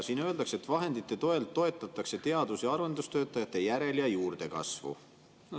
Siin öeldakse, et vahendite toel toetatakse teadus- ja arendustöötajate järel- ja juurdekasvu.